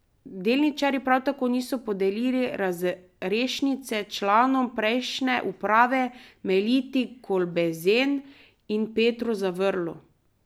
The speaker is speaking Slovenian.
Delničarji prav tako niso podelili razrešnice članoma prejšnje uprave Meliti Kolbezen in Petru Zavrlu.